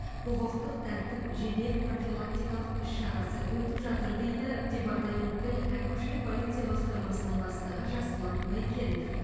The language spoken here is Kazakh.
құқықтық тәртіп жедел профилактикалық іс шарасы өтіп жатыр дейді департаменттің әкімшілік полиция басқармасының бастығы жасұлан байкенов